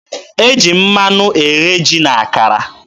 E ji mmanụ eghe ji na akara.